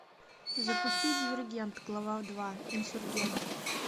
запусти дивергент глава два инсургент